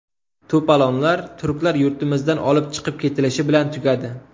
To‘polonlar turklar yurtimizdan olib chiqib ketilishi bilan tugadi.